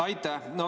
Aitäh!